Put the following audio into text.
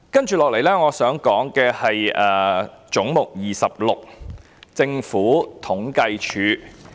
接下來我想說的是"總目 26― 政府統計處"。